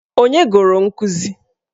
Ònye gụrụ nkụzi?